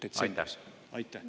Aitäh!